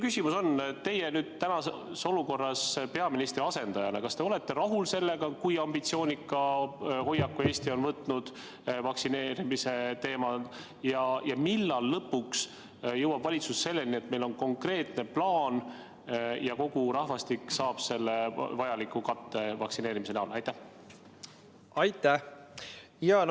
Kas teie, kes te täna olete peaministri asendaja, olete rahul sellega, kui ambitsioonika hoiaku Eesti on võtnud vaktsineerimise teemal, ja millal lõpuks jõuab valitsus selleni, et meil on konkreetne plaan ja kogu rahvastik saab vajaliku vaktsineerimiskatte?